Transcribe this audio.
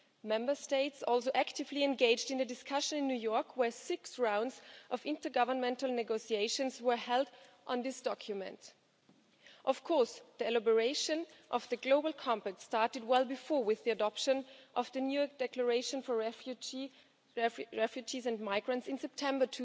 Member States also actively engaged in a discussion in New York, where six rounds of intergovernmental negotiations were held on this document. Of course, the preparation of the global compact had started well before that, with the adoption of the new Declaration for Refugees and Migrants in September